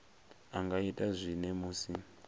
a nga ita zwone musi